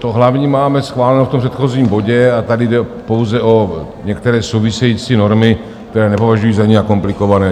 To hlavní máme schváleno v tom předchozím bodě a tady jde pouze o některé související normy, které nepovažuji za nijak komplikované.